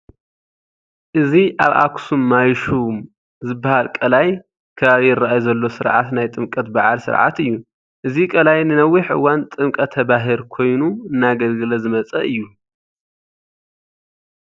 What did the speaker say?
እዚ ኣብ ኣኽሱም ማይሹም ዝበሃል ቃላይ ከባቢ ይርኣይ ዘሎ ስርዓት ናይ ጥምቀት በዓል ስርዓት እዩ፡፡ እዚ ቃላይ ንነዊሕ እዋን ጥምቀተ ባህር ኮይኑ እናገልገለ ዝመፀ እዩ፡፡